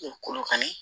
Kolokani